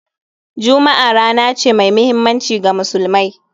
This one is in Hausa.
Juma'a rana ce mai muhimmanci ga Musulmai